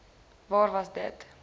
waar was dit